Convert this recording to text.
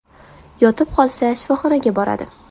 Yotib qolsa, shifoxonaga boradi.